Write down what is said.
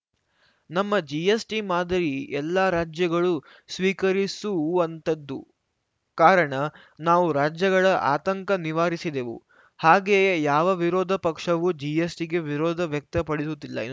ನಮ್ಮ ಜಿಎಸ್‌ಟಿ ಮಾದರಿ ಎಲ್ಲಾ ರಾಜ್ಯಗಳೂ ಸ್ವೀಕರಿಸುವಂಥದ್ದು ಕಾರಣ ನಾವು ರಾಜ್ಯಗಳ ಆತಂಕ ನಿವಾರಿಸಿದೆವು ಹಾಗೆಯೇ ಯಾವ ವಿರೋಧ ಪಕ್ಷವೂ ಜಿಎಸ್‌ಟಿಗೆ ವಿರೋಧ ವ್ಯಕ್ತಪಡಿಸುತ್ತಿಲ್ಲ ಎ